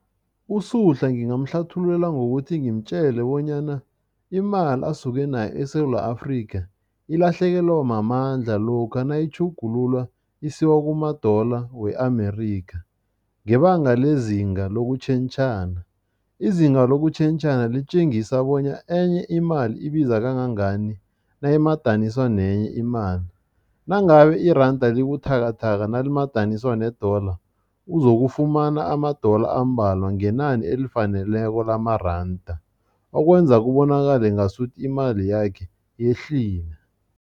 USuhla ngingamhlathululela ngokuthi ngimtjele bonyana imali asuke nayo eSewula Afrika, ilahlekelwa mamandla lokha nayitjhugululwa isiwa kuma-dollar we-Amerikha ngebanga lezinga lokutjhentjhana. Izinga lokutjhentjhana litjengisa bonya enye imali ibiza kangangani nayimadaniswa nenye imali. Nangabe iranda libuthakathaka nalimadaniswa ne-dollar, uzokufumana ama-dollar ambalwa ngenani elifaneleko lamaranda, okwenza kubonakale ngasuthi imali yakhe yehlile.